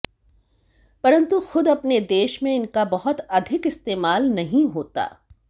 परंतु खुद अपने देश में इनका बहुत अधिक इस्तेमाल नहीं होता